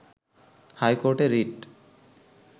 হাইকোর্টে রিট